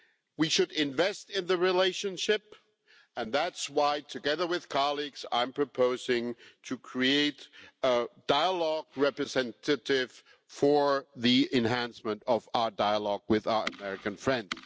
We should invest in the relationship, and that is why, together with colleagues, I am proposing to create a dialogue representative for the enhancement of our dialogue with our American friends.